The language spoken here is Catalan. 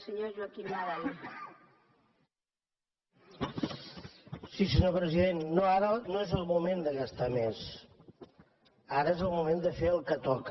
senyor president no ara no és el moment de gastar més ara és el moment de fer el que toca